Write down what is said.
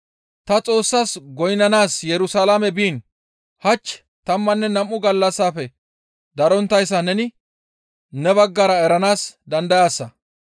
Ta Xoossas goynnanaas Yerusalaame biin hach tammanne nam7u gallassafe daronttayssa neni ne baggara eranaas dandayaasa.